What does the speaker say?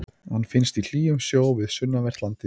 Hann finnst í hlýjum sjó við sunnanvert landið.